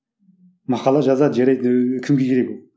мақала жазады жарайды ыыы кімге керек ол